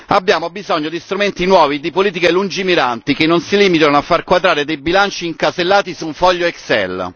Abbiamo bisogno di strumenti nuovi e di politiche lungimiranti che non si limitano a far quadrare dei bilanci incasellati su un foglio excel